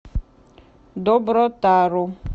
добротару